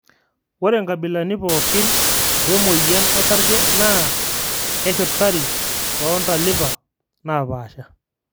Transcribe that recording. ore nkabilani pokin we moyian osarge na keshurtari too ntalipa naapasha